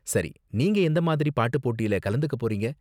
சரி, நீங்க எந்த மாதிரி பாட்டு போட்டில கலந்துக்க போறீங்க?